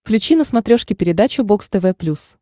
включи на смотрешке передачу бокс тв плюс